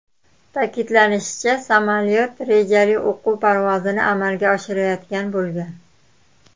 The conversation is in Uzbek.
Ta’kidlanishicha, samolyot rejali o‘quv parvozini amalga oshirayotgan bo‘lgan.